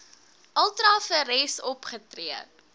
ultra vires opgetree